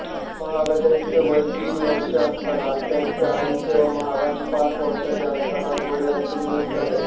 महाराजांचे वय तीन वर्षे असतानाच त्यांचे आईचे व महाराज पाच वर्षाचे असतानाच वडिलांचे निधन झाले